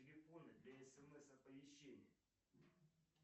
телефоны для смс оповещения